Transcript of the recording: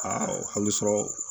Aa hali sɔrɔ